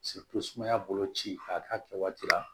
sumaya bolo ci a k'a kɛ waati la